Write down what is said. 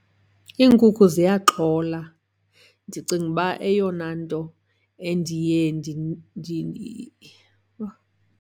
Iinkukhu ziyaxhola. Ndicinga uba eyona nto endiye .